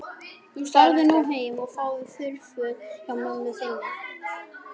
Farðu nú heim og fáðu þurr föt hjá mömmu þinni.